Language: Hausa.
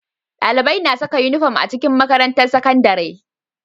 Dalibai na Saka inufom a makarantar sakandari